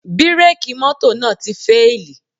Bírèkì mọ́tò náà ti fíèlì